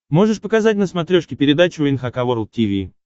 можешь показать на смотрешке передачу эн эйч кей волд ти ви